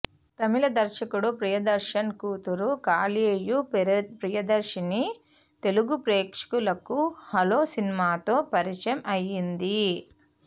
తమిళ దర్శకుడు ప్రియదర్శన్ కూతురు కళ్యాయి ప్రియదర్శిని తెలుగు ప్రేక్షకులకు హలో సినిమాతో పరిచయం అయింది